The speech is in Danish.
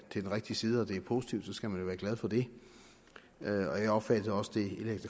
til den rigtige side og det er positivt skal man jo være glad for det jeg jeg opfattede også det indlæg